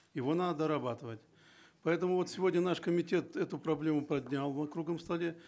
его надо дорабатывать поэтому вот сегодня наш комитет эту проблему поднял на круглом столе